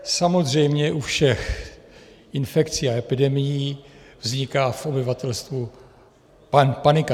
Samozřejmě, u všech infekcí a epidemií vzniká v obyvatelstvu panika.